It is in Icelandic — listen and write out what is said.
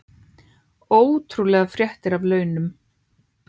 Ótrúlegar fréttir af launum